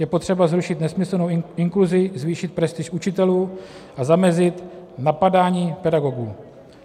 Je potřeba zrušit nesmyslnou inkluzi, zvýšit prestiž učitelů a zamezit napadání pedagogů.